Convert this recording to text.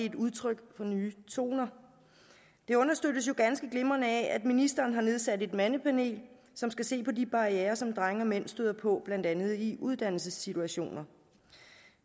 et udtryk for nye toner det understøttes jo ganske glimrende af at ministeren har nedsat et mandepanel som skal se på de barrierer som drenge og mænd støder på blandt andet i uddannelsessituationer